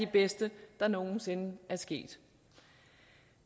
bedste der nogen sinde er sket